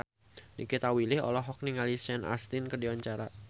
Nikita Willy olohok ningali Sean Astin keur diwawancara